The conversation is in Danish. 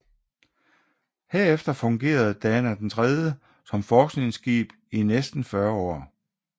Herefter fungerede Dana III som forskningsskib i næsten 40 år